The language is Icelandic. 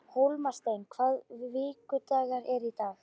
Hólmsteinn, hvaða vikudagur er í dag?